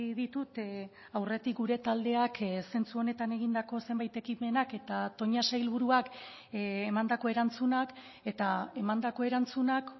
ditut aurretik gure taldeak zentsu honetan egindako zenbait ekimenak eta toña sailburuak emandako erantzunak eta emandako erantzunak